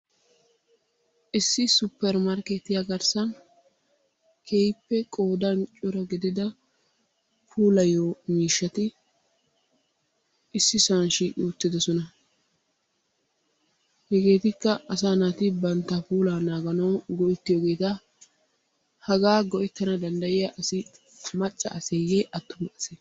Issi supppermarkkeettiyaa garssan keehippe qoodan cora gidida puulayiyo miishshati issisan shiiqi uttidosona. Hegeetikka asaa naati bantta puulaa naaganawu go''ettiyogeeta. Hagaa go''ettana danddayiyaa asi macca aseyye attuma ase?